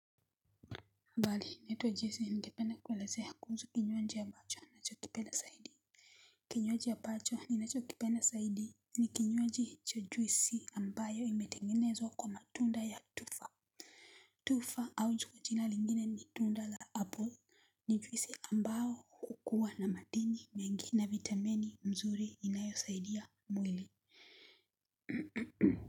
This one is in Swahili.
Abali naitwa jesi ningependa kuelezea kuusu kinywaji abacho nachokipenda saidi. Kinywaji abacho ninacho kipenda saidi ni kinywaji cha jwisi ambayo imetengenezwa kwa matunda ya tufa. Tufa au ju kwa jina lingine ni tunda la apple ni juwisi ambao ukuwa na madini mengi na vitameni mzuri inayosaidia mwili.